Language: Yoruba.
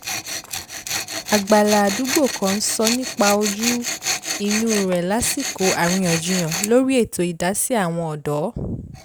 àgbàlá àdúgbò kan sọ nípa ojú - inú rẹ̀ lásìkò àríyànjiyàn lórí ètò idasi àwọn ọ̀dọ́